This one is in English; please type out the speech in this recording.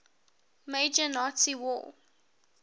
major nazi war